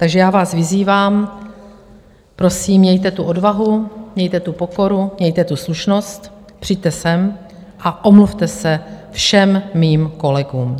Takže já vás vyzývám, prosím, mějte tu odvahu, mějte tu pokoru, mějte tu slušnost, přijďte sem a omluvte se všem mým kolegům.